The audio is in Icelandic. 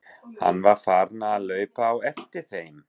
Hann var farinn að hlaupa á eftir þeim!